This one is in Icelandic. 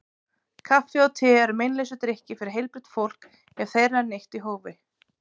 Kaffi og te eru meinlausir drykkir fyrir heilbrigt fólk ef þeirra er neytt í hófi.